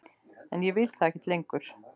En ég vil það ekki lengur.